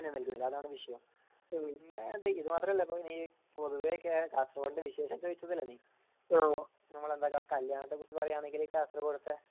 പ്രാധാന്യം നൽകുന്നില്ല അതാണ് വിഷയം പിന്നെ ഇത് മാത്രല്ല പിന്നെ പൊതുവെ കാസർകോടിന്റെ വിശേഷം ചോയ്ച്ചതല്ലേ നീ ഞമ്മളെന്താ കല്യാണത്തെ കുറിച് പറയണങ്ങി കാസർകോട്ട് ത്തെ